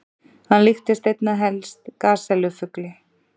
Hann líktist einna helst gasellu-fugli.